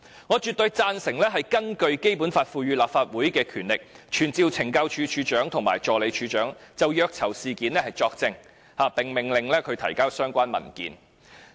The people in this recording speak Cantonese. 我絕對贊同根據《基本法》賦予立法會的權力，傳召懲教署署長及助理署長，就虐囚事件作證，並命令他們提交相關文件。